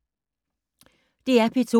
DR P2